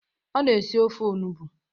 Ọ na esi ofe onugbo.